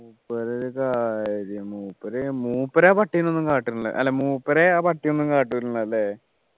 മൂപ്പരെ ഒരു കാര്യം മൂപ്പര് മൂപ്പരാ പട്ടിനെ ഒന്നും കാട്ടുന്നില്ല അല്ല മൂപ്പരെ ആ പട്ടി ഒന്നും കാട്ടൂല അല്ലെ